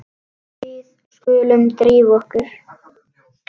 Við skulum drífa okkur.